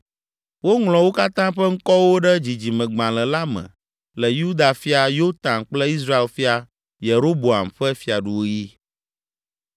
Woŋlɔ wo katã ƒe ŋkɔwo ɖe dzidzimegbalẽ la me le Yuda fia Yotam kple Israel fia Yeroboam ƒe fiaɖuɣi.